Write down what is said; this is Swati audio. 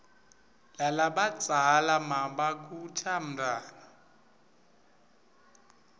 lalabadzala nmabakhuta umntfwana